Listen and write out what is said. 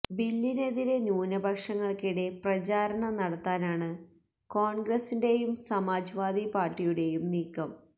ബില്ലിനെതിരെ ന്യൂനപക്ഷങ്ങൾക്കിടെ പ്രചാരണം നടത്താനാണ് കോൺഗ്രസിന്റെയും സമാജ് വാദി പാർട്ടിയുടെയും നീക്കം